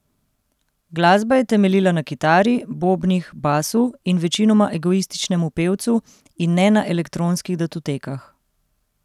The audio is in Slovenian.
Glasba je temeljila na kitari, bobnih, basu in večinoma egoističnemu pevcu, in ne na elektronskih datotekah.